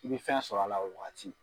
I bɛ fɛn sɔrɔ a la o wagati.